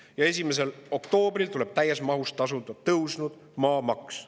Ja 1. oktoobril tuleb täies mahus tasuda tõusnud maamaks.